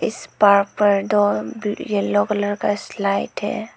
इस पार्क पर दो भी येलो कलर का स्लाइड है।